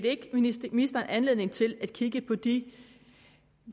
ikke giver ministeren anledning til at kigge på de